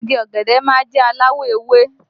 Igi ọ̀gẹ̀dẹ̀ má ń jẹ́ aláwọ̀ ewé